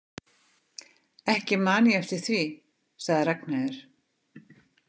Ekki man ég eftir því, sagði Ragnheiður.